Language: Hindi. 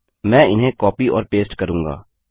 मैं इन्हें कॉपी और पेस्ट करूँगा